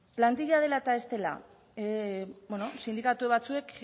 plantilla dela eta ez dela beno sindikatu batzuek